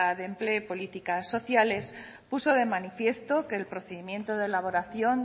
de empleo y políticas sociales puso de manifiesto que el procedimiento de elaboración